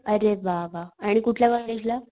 अरे वा वा, आणि कुठल्या कॉलेजला?